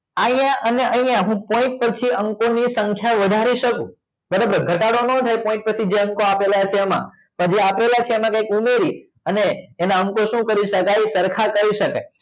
અહિયાં અને અહિયાં હું point પછી અંકો ની સંખ્યા વધારી શકું ભલે ઘટાડો નાં થાય point પછી જે અંકો આપેલા છે એમાં પણ જે આપેલા છે એમાં કાઈક ઉમેરી અને એના અંકો શું કરી સરખા કરી શકાય